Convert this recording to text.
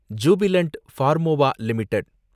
Jubilant Pharmova limited